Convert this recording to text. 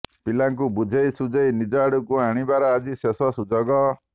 ପିଲାଙ୍କୁ ବୁଝେଇ ସୁଝେଇ ନିଜ ଆଡକୁ ଆଣିବାର ଆଜି ଶେଷ ସୁଯୋଗ